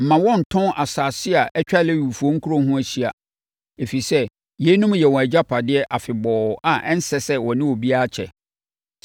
Mma wɔnntɔn nsase a atwa Lewifoɔ nkuro ho ahyia, ɛfiri sɛ, yeinom yɛ wɔn agyapadeɛ afebɔɔ a ɛnsɛ sɛ wɔne obiara kyɛ.